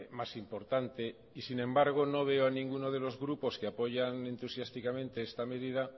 más importante sin embargo no veo a ninguno de los grupos que apoyan entusiásticamente esta medida